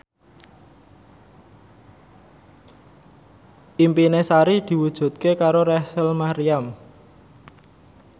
impine Sari diwujudke karo Rachel Maryam